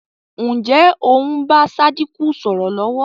Ǹjẹ́ o ń bá Sádíkù sọ̀rọ̀ lọ̀wọ̀?